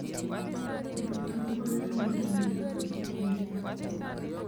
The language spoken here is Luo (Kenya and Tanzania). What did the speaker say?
Pidho cham konyo e medo nyak e kinde koth